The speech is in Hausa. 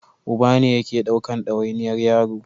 Uba ne yake ɗaukan dawainiyar yaro